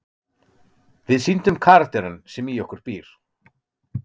Við sýndum karakterinn sem í okkur býr.